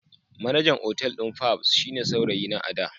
Manajan otal din fabs shine saurayina a da.